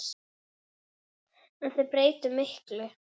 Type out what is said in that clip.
En þeir breyttu miklu.